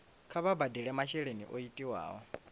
kha vha badele masheleni o tiwaho